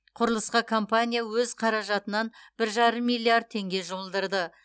құрылысқа компания өз қаражатынан бір жарым миллиард теңге жұмылдырды